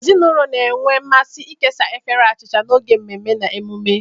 Ezinụlọ na-enwe mmasị ịkesa efere achịcha n'oge mmemme na emume.